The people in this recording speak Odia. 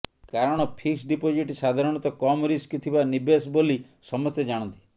କାରଣ ଫିକ୍ସ ଡିପୋଜିଟ୍ ସାଧାରଣତଃ କମ୍ ରିସ୍କ ଥିବା ନିବେଶ ବୋଲି ସମସ୍ତେ ଜାଣନ୍ତି